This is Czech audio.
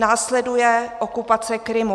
Následuje okupace Krymu.